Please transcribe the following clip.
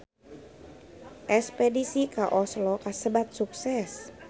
Espedisi ka Oslo kasebat sukses